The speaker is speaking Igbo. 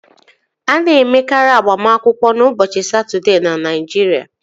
A na-emekarị agbamakwụkwọ ụbọchị Satọdee na Naịjirịa